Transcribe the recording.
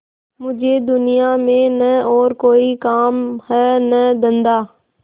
मुझे दुनिया में न और कोई काम है न धंधा